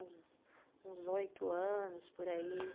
Uns oito anos, por aí.